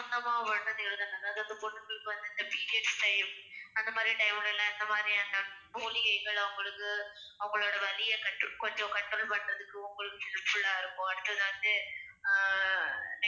எழுதணும் அதாவது அந்த பொண்ணுங்களுக்கு வந்து இந்த periods time அந்த மாதிரி time ல எல்லாம் எந்த மாதிரியான மூலிகைகள் அவங்களுக்கு அவங்களோட வலியை கட்டு~ கொஞ்சம் control பண்றதுக்கு உங்களுக்கு helpful ஆ இருக்கும் அடுத்தது வந்து ஆஹ்